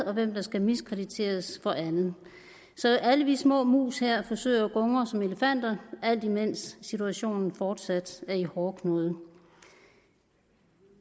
og hvem der skal miskrediteres for andet så alle vi små mus her forsøger at gungre som elefanter alt imens situationen fortsat er i hårdknude